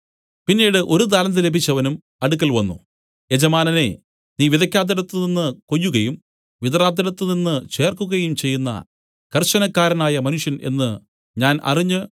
പിന്നീട് ഒരു താലന്ത് ലഭിച്ചവനും അടുക്കൽ വന്നു യജമാനനേ നീ വിതയ്ക്കാത്തിടത്തുനിന്ന് കൊയ്യുകയും വിതറാത്തിടത്തുനിന്ന് ചേർക്കുകയും ചെയ്യുന്ന കർശനക്കാരനായ മനുഷ്യൻ എന്നു ഞാൻ അറിഞ്ഞ്